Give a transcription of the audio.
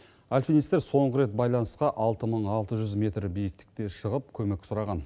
альпинистер соңғы рет байланысқа алты мың алты жүз метр биіктікте шығып көмек сұраған